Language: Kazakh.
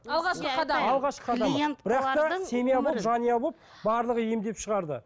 жанұя болып барлығы емдеп шығарды